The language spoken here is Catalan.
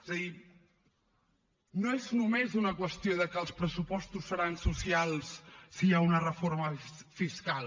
és a dir no és només una qüestió de que els pressupostos seran socials si hi ha una reforma fiscal